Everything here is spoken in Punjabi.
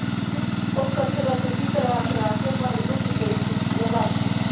ਉਹ ਕਸਰਤ ਜੀ ਕਰਾ ਕਰਾ ਕੇ ਮਾੜੀ ਮੋਟੀ ਸਹੀ ਕੀਤੀ ਆ ਲੱਤ।